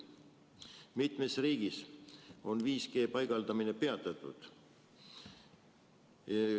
Mitmes riigis on 5G paigaldamine peatatud.